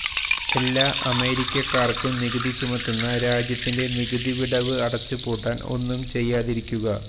എല്ലാ അമേരിക്കക്കാർക്കും നികുതി ചുമത്തുന്ന രാജ്യത്തിന്റെ നികുതി വിടവ് അടച്ചുപൂട്ടാൻ ഒന്നും ചെയ്യാതിരിക്കുക